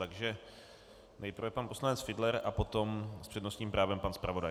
Takže nejprve pan poslanec Fiedler a potom s přednostním právem pan zpravodaj.